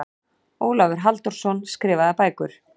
Ólafur Halldórsson, Skrifaðar bækur